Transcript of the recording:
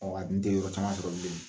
a dun tɛ yɔrɔ caman sɔrɔ bilen.